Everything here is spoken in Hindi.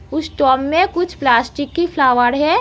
उस टोब में कुछ प्लास्टिक की फ्लावर है।